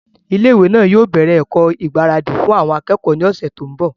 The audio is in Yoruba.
ilé ìwé náà yóò bẹ̀rẹ̀ ẹ̀kọ́ ìgbáradì fún àwọn akẹ́kọ̀ọ́ ní ọ̀sẹ̀ tó ń bọ̀